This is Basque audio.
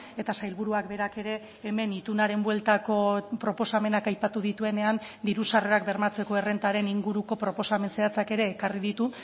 eta sailburuak berak ere hemen itunaren bueltako proposamenak aipatu dituenean diru sarrerak bermatzeko errentaren inguruko proposamen zehatzak ere ekarri ditu